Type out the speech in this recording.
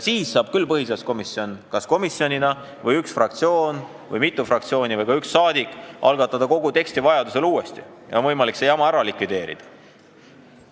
Siis saab põhiseaduskomisjon või üks fraktsioon või mitu fraktsiooni või ka üks saadik algatada kogu teksti vajaduse korral uuesti ja on võimalik see jama ära likvideerida.